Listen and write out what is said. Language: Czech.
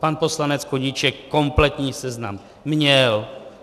Pan poslanec Koníček kompletní seznam měl.